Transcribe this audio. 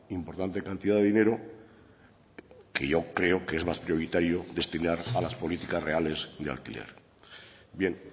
importante cantidad de dinero que yo creo que más prioritario destinar a las políticas reales de alquiler bien